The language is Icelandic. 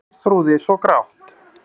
Geirþrúði svo grátt.